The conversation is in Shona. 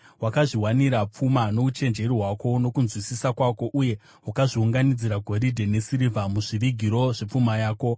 Wakazviwanira pfuma nouchenjeri hwako nokunzwisisa kwako, uye wakazviunganidzira goridhe nesirivha muzvivigiro zvepfuma yako.